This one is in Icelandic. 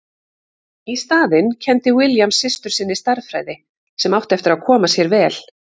Í staðinn kenndi William systur sinni stærðfræði sem átti eftir að koma sér vel.